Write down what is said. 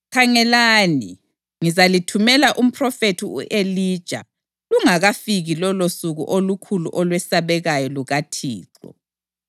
Khangelani, ngizalithumela umphrofethi u-Elija lungakafiki lolosuku olukhulu olwesabekayo lukaThixo.